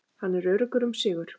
Hann er öruggur um sigur.